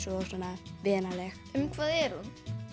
og svona vinaleg um hvað er hún